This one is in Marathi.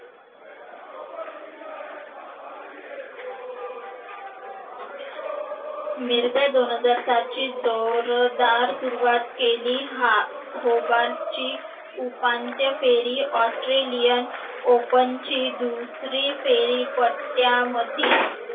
मिर्झा दोन हजार सात ची जोरदार सुरुवात केली. हा हो बारची उपांत्य फेरी Australian Open ची दुसरी फेरी पत्त्यामधी.